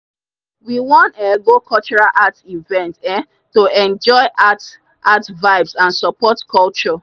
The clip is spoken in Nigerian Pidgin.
we wan um go cultural art event um to enjoy art art vibes and support culture.